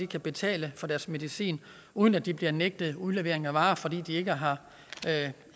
kan betale for deres medicin uden at de bliver nægtet udlevering af varerne fordi de ikke har